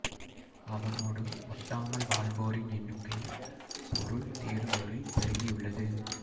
அவனோடு ஒட்டாமல் வாழ்வோரின் எண்ணுக்கை பொருள் தேடும் ஊரில் பெருகியுள்ளது